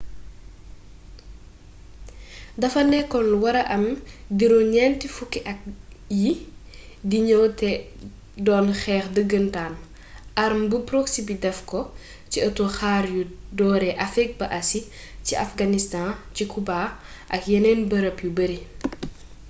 defa nekkon lu wara am diiru ñent fukki at yi di ñëw te doon xeex dëggëntaan arme bu proxy def ko ci ëttu xare yu doore afrig ba asi ci afghanstan ci cuba ak yeneen barab yu bare